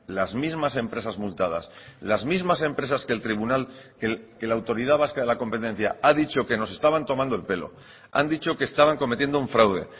las mismas empresas multadas las mismas empresas que el tribunal que la autoridad vasca de la competencia ha dicho que nos estaban tomando el pelo han dicho que estaban cometiendo un fraude